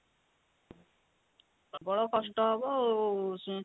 ପ୍ରବଳ କଷ୍ଟ ହବ ଆଉ